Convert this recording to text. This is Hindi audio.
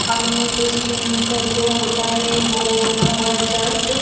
हमे क्रिचन का जो होता है वो बना हुआ है चर्च।